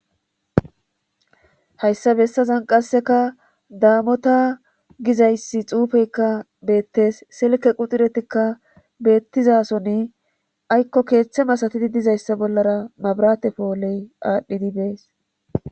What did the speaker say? hayssa bessazan qasseka daamota gizayssi xuufeykka beettes selike quxuretikka beettizasoni aykko keeththe masatidi dizayssa bollara mabarate poholey aadhdhidi bees